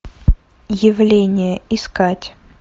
явление искать